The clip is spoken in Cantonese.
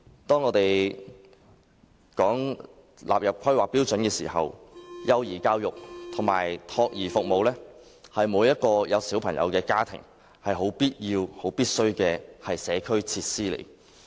當我們討論更新《規劃標準》時，幼兒教育及託兒服務是每個有子女的家庭不可缺少的社區設施。